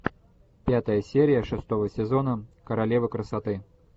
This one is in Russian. пятая серия шестого сезона королева красоты